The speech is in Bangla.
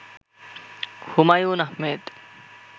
হুমায়ুন আহমেদ